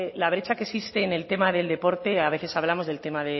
la brecha que existe en el tema del deporte a veces hablamos del tema